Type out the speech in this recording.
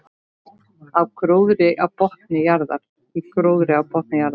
Í gróðri á botni jarðar.